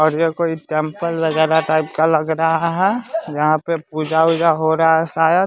और ये कोई टेंपल वगैरह टाइप का लग रहा है यहाँ पूजा उजा हो रहा है शायद --